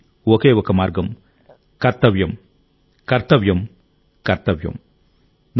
దానికి ఒకే మార్గం కర్తవ్యం కర్తవ్యం కర్తవ్యం